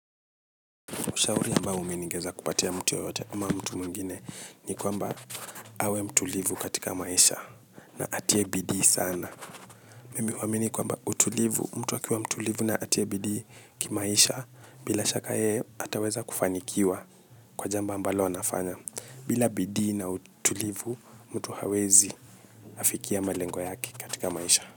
Ushauri ambao mi ningeweza kupatia mtu yeyote ama mtu mwingine ni kwamba awe mtulivu katika maisha na atie bidii sana. Mimi huamini kwamba utulivu mtu akiwa mtulivu na atie bidii kimaisha bila shaka yeye ataweza kufanikiwa kwa jambo ambalo anafanya, bila bidii na utulivu, mtu hawezi kafikia malengo yake katika maisha.